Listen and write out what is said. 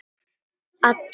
Í alla nótt.